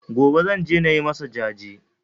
Gobe Zan je nayi masa jaje